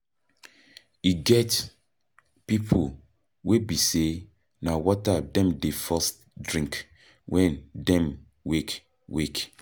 E get pipo wey be sey na water dem dey first drink when dem wake wake